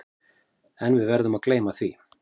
En við verðum að gleyma því.